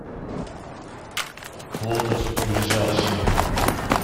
лотос ближайший